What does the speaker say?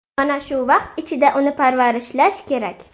Mana shu vaqt ichida uni parvarishlash kerak.